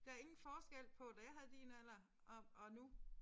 Der ingen forskel på da jeg havde din alder og og nu